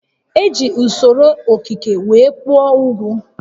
E ji usoro okike were kpụọ ugwu